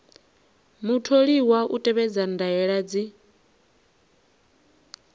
mutholiwa u tevhedza ndaela dzi